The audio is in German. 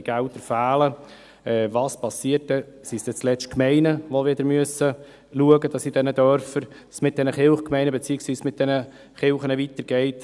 Sind es am Ende die Gemeinden, die schauen müssen, wie es mit den Kirchen in den Dörfern weitergeht?